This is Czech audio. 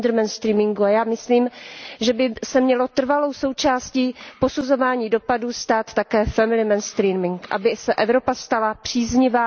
gender mainstreamingu a já myslím, že by se měl trvalou součástí posuzování dopadů stát také family mainstreaming, aby se Evropa stala příznivá